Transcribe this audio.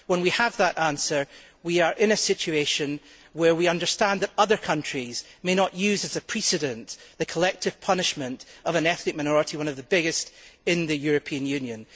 When we have that answer, we will be in a position where we understand that other countries may not use as a precedent the collective punishment of an ethnic minority, one of the biggest in the European Union.